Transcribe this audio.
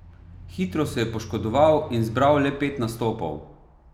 Hitro se je poškodoval in zbral le pet nastopov.